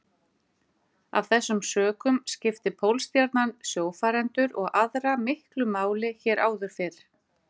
Af þessum sökum skipti Pólstjarnan sjófarendur og aðra miklu máli hér áður fyrr.